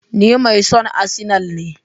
Ni mai son arsenal ne.